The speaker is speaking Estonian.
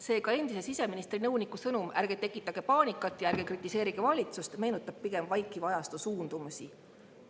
Seega, endise siseministri nõuniku sõnum "Ärge tekitage paanikat ja ärge kritiseerige valitsust" meenutab pigem vaikiva ajastu suundumusi.